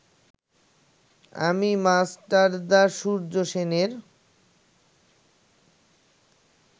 আমি মাস্টারদা সূর্য সেনের